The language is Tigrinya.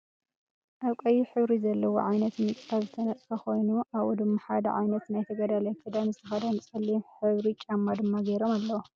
ኣበ ቀይሕ ሕበሪ ዘለዎ ዓይነት ምንፃፍ ዝተነፀፈ ኮይኑ ኣብኡ ድማ ሓደ ዓይነት ናይ ተገዳላይ ክዳነ ዝተከደኑ ፀሊም ሕብሪ ጫማ ድማ ገይሮም ኣለው።